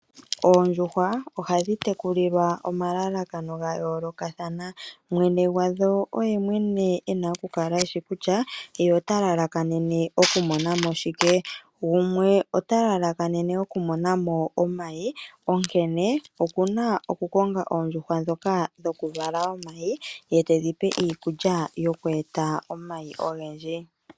Oondjuhwa ohadhi tekulilwa omalalakano gayoolokathana mwene gwadho oyemwene ena okukala eshi kutyaa ye otalalakanene okumona mo shike. Gumwe otalalakanene okumona mo omayi onkene okuna okukonga oondjuhwa dhokaa dhokuvala omayi yetedhipe iikulya yokweeta omayi ogendji.